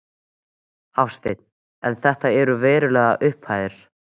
Hafsteinn: En þetta eru verulegar upphæðir?